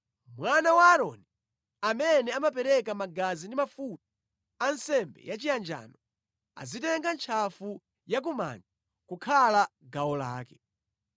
Mwana wa Aaroni amene amapereka magazi ndi mafuta a nsembe yachiyanjano, adzitenga ntchafu ya kumanja kukhala gawo lake.